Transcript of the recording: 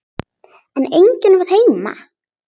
En enginn var heima.